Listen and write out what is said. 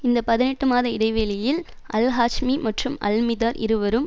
இந்த பதினெட்டு மாத இடைவெளியில் அல்ஹாஜ்மி மற்றும் அல்மிதார் இருவரும்